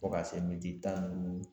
Fo ka se miniti tan ni duuru